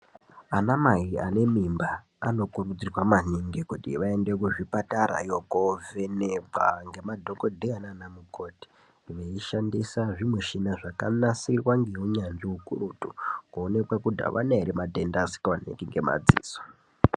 Ana mai ane mimba anokurudzirwa maningi kuti vaende kuzvipatarayo kovhenekwa ngemadhokodheya nana mukoti veishandisa zvimishina zvakanasirwa ngeunyanzvi ukurutu kuonekwe kuti avana ere matenda asikaonekwi ngemadziso.